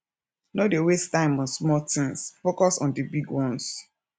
no dey waste time on small tins focus on di big ones